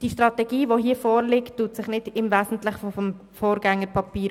Die Strategie, die hier vorliegt, unterscheidet sich nicht wesentlich von ihrem Vorgängerpapier.